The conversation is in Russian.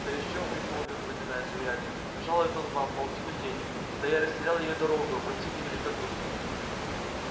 да ещё примолвил запинаясь урядник жалует он вам полтину денег да я растерял её дорогою простите великодушно